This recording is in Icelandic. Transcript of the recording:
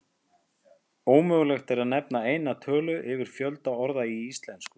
Ómögulegt er að nefna eina tölu yfir fjölda orða í íslensku.